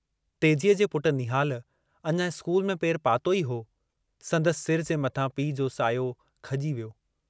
तेजीअ जे पुट निहाल अञा स्कूल में पेरु पातो ई हो जो संदसि सिर जे मथां पीउ जो सायो खजी वियो।